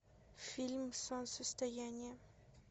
фильм солнцестояние